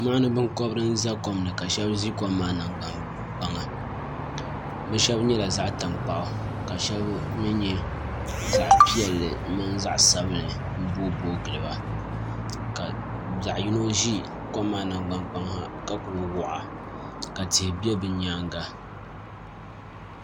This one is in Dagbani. Mɔɣuni binkɔbiri n za kom ni ka shɛba za kom maa nangbani kpaŋa bi shɛba nyɛla zaɣi tankpaɣu ka shɛba mi nyɛ zaɣi piɛlli mini zaɣi sabinli m boo boi gili ba ka zaɣi yino zi kom maa nangbani kpaŋa ha ka kuli waɣa ka tihi bɛ bi yɛanga.